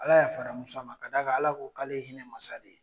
Ala ya fara Muso ma ka'a Ala ko k'ale ye hinɛ masa de ye.